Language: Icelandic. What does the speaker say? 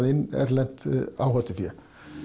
inn erlent áhættufé